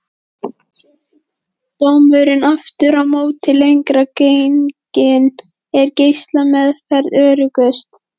Sé sjúkdómurinn aftur á móti lengra genginn er geislameðferð öruggust.